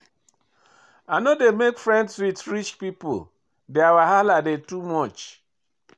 I no dey make friends wit rich pipo, their wahala dey too much.